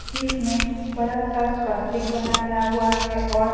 जिसमें बड़ा सा स्वास्तिक बनाया हुआ है और --